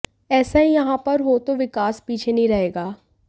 ऐसा ही यहां पर हो तो विकास पीछे नहीं रहेगा